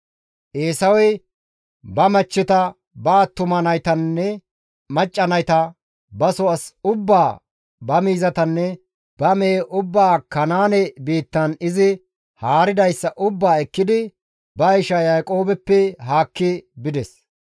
Eesawey ba machcheta, ba attuma naytanne macca nayta, baso as ubbaa ba miizatanne ba mehe ubbaa Kanaane biittan izi haaridayssa ubbaa ekkidi ba isha Yaaqoobeppe haakki bides.